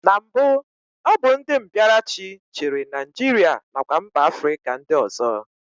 Na mbụ, ọ bụ ndị mbịaraachị chịrị Naijiria nakwa mba Afrịka ndị ọzọ